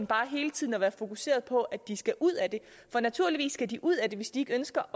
bare hele tiden at være fokuseret på at de skal ud af det naturligvis skal de ud af det hvis de ikke ønsker